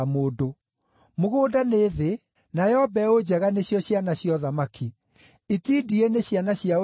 Mũgũnda nĩ thĩ, nayo mbeũ njega nĩcio ciana cia ũthamaki. Itindiĩ nĩ ciana cia ũrĩa mũũru,